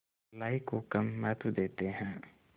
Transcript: भलाई को कम महत्व देते हैं